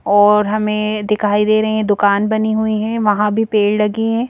और हमें दिखाई दे रहे हैं दुकान बनी हुई है वहां भी पेड़ लगी है।